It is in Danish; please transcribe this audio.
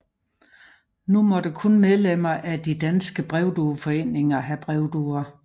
Nu måtte kun medlemmer af De danske Brevdueforeninger have brevduer